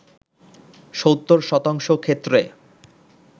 ৭০ শতাংশ ক্ষেত্রে